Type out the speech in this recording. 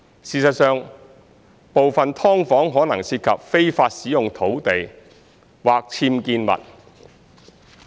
事實上，部分"劏房"可能涉及非法使用土地或僭建物。